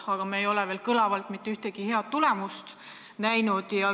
Paraku me ei ole veel mitte ühtegi head tulemust näinud.